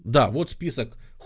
да вот список